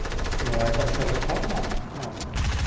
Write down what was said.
ну это вообще законно ну